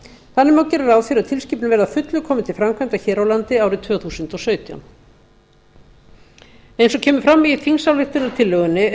þannig má gera ráð fyrir að tilskipunin verði að fullu komin til framkvæmda hér á landi árið tvö þúsund og sautján eins og kemur fram í þingsályktunartillögunni er